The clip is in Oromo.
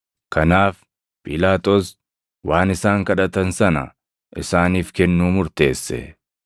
Kanaaf Phiilaaxoos waan isaan kadhatan sana isaaniif kennuu murteesse.